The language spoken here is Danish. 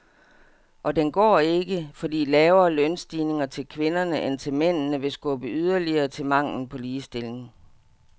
Og den går ikke, fordi lavere lønstigninger til kvinderne end til mændene vil skubbe yderligere til manglen på ligestilling.